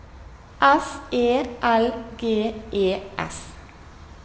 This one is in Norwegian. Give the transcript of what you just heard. S E L G E S